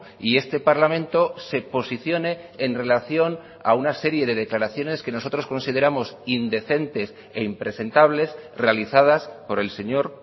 y este parlamento se posicione en relación a una serie de declaraciones que nosotros consideramos indecentes e impresentables realizadas por el señor